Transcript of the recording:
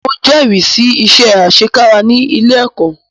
Mo jẹ́rìí sí iṣẹ́ àṣekára ní ilé ẹ̀kọ́.